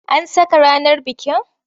An saka ranar bikin?